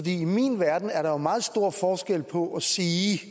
i min verden er der meget stor forskel på at sige